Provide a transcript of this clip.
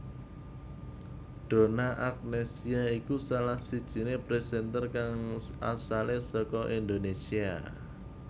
Donna Agnesia iku salah sijiné presenter kang asale saka Indonésia